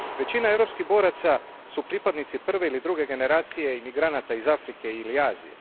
Većina europskih boraca su pripadnici prve ili druge generacije imigranata iz Afrike ili Azije.